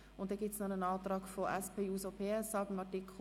Weiter gibt es zu Artikel 118 einen Antrag der SP-JUSO-PSAFraktion.